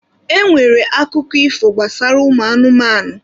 E nwere akụkọ ifo gbasara ụmụ anụmanụ.